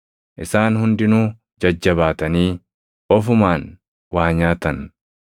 Isaan hundinuu jajjabaatanii ofumaan waa nyaatan.